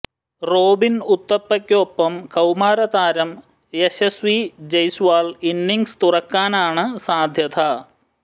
റോബിന് ഉത്തപ്പയ്ക്കൊപ്പം കൌമാര താരം യശസ്വി ജയ്സ്വാൾ ഇന്നിംഗ്സ് തുറക്കാനാണ് സാധ്യത